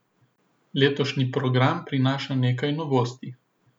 Letošnji program prinaša nekaj novosti.